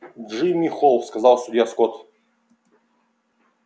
джимми холл сказал судья скотт